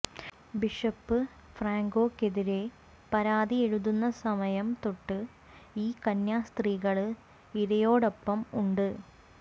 bishop ഫ്രാങ്കോയ്ക്കെതിരേ പരാതി എഴുതുന്ന സമയം തൊട്ട് ഈ കന്യാസ്ത്രീകള് ഇരയോടൊപ്പം ഉണ്ട്